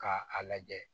K'a a lajɛ